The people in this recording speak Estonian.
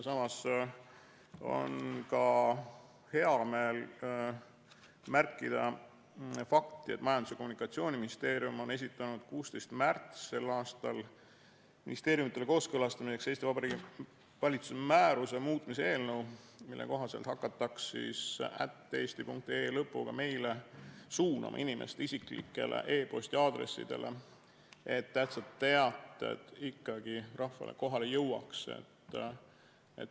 Samas on hea meel märkida fakti, et Majandus- ja Kommunikatsiooniministeerium on esitanud 16. märtsil ministeeriumidele kooskõlastamiseks Eesti Vabariigi valitsuse määruse muutmise eelnõu, mille kohaselt hakataks @eesti.ee lõpuga meile suunama inimeste isiklikele e-posti aadressidele, et tähtsad teated ikkagi rahvale kohale jõuaks.